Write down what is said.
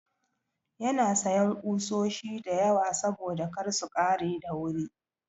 Yana sayan ƙusoshi da yawa saboda kar su ƙare da wuri.